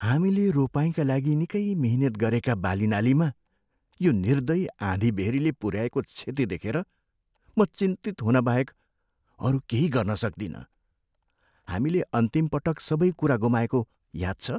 हामीले रोपाइँका लागि निकै मिहिनेत गरेका बालीनालीमा यो निर्दयी आँधीबेहरीले पुऱ्याएको क्षति देखेर म चिन्तित हुन बाहेक अरू केही गर्न सक्दिनँ। हामीले अन्तिम पटक सबै कुरा गुमाएको याद छ?